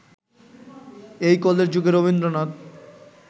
এই ‘কলের যুগে’ রবীন্দ্রনাথ